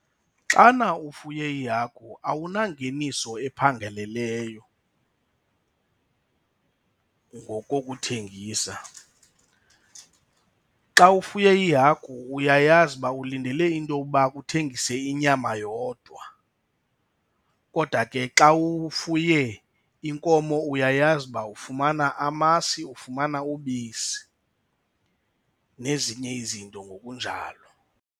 Xana ufuye ihagu awunangeniso ephangeleleyo ngokokuthengisa. Xa ufuye iihagu uyayazi uba ulindele into yokuba uba uthengise inyama yodwa. Kodwa ke xa ufuye inkomo uyayazi uba ufumana amasi, ufumana ubisi nezinye izinto ngokunjalo.